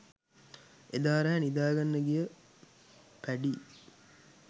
එදා රෑ නිදාගන්න ගිය පැඞී